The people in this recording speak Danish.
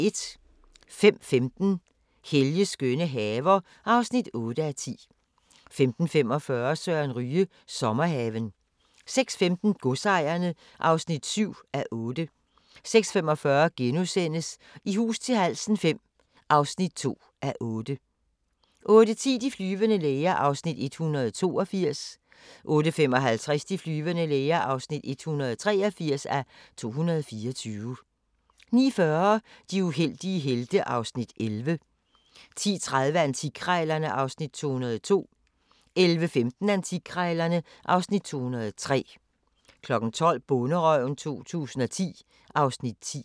05:15: Helges skønne haver (8:10) 05:45: Søren Ryge – Sommerhaven 06:15: Godsejerne (7:8) 06:45: I hus til halsen V (2:8)* 08:10: De flyvende læger (182:224) 08:55: De flyvende læger (183:224) 09:40: De uheldige helte (Afs. 11) 10:30: Antikkrejlerne (Afs. 202) 11:15: Antikkrejlerne (Afs. 203) 12:00: Bonderøven 2010 (Afs. 10)